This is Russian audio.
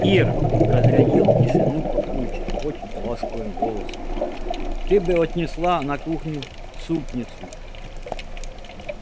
ир разрядил тишину папульчик очень ласковым голосом ты бы отнесла на кухню супницу